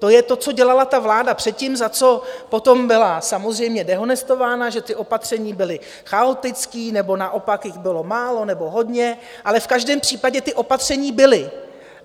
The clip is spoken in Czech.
To je to, co dělala ta vláda předtím, za co potom byla samozřejmě dehonestována, že ta opatření byla chaotická, nebo naopak jich bylo málo nebo hodně, ale v každém případě ta opatření byla.